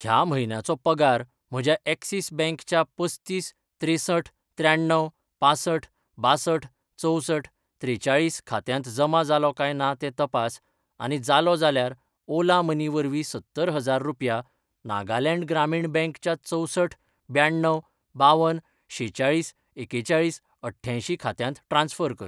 ह्या म्हयन्याचो पगार म्हज्या ऍक्सिस बॅंक च्या पस्तीस त्रेंसठ त्र्याण्णव पांसठ बांसठ चवसठ त्रेचाळीस खात्यांत जमा जालो काय ना तें तपास, आनी जालो जाल्यार ओला मनी वरवीं सत्तर हजार रुपया नागालँड ग्रामीण बँक च्या चवसठ ब्याण्णव बावन शेचाळीस एकेचाळीस अठ्यांयशी खात्यांत ट्रान्स्फर कर.